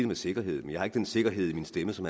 med sikkerhed jeg har ikke den sikkerhed i min stemme som